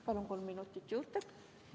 Palun kolm minutit juurde!